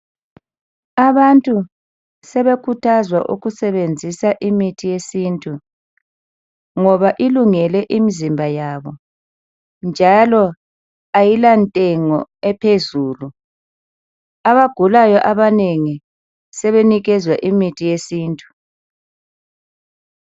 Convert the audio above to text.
Abantu sebekhuthazwa ukusebenzisa imithi yesintu ngoba ilungele imizimba yabo njalo ayila ntengo ephezulu. Abagulayo abanengi sebenikezwa imithi yesintu.